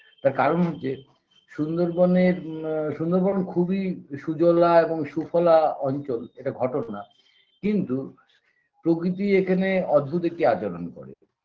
তার কারণ হচ্ছে সুন্দরবনের ম সুন্দরবন খুবই সুজলা এবং সুফলা অঞ্চল এটা ঘটনা কিন্তু প্রকৃতি এখানে অদ্ভুত একটি আচরণ করে